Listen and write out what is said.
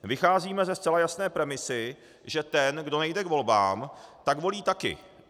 Vycházíme ze zcela jasné premise, že ten, kdo nejde k volbám, tak volí taky.